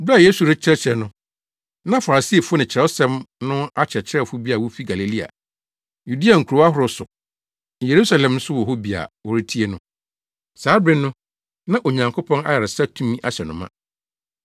Bere bi a Yesu rekyerɛkyerɛ no, na Farisifo ne Kyerɛwsɛm no akyerɛkyerɛfo bi a wofi Galilea ne Yudea nkurow ahorow so ne Yerusalem nso wɔ hɔ bi a wɔretie no. Saa bere no, na Onyankopɔn ayaresa tumi ahyɛ no ma.